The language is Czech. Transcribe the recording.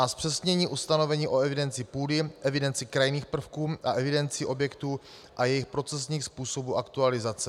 A zpřesnění ustanovení o evidenci půdy, evidenci krajinných prvků a evidenci objektů a jejich procesních způsobů aktualizace.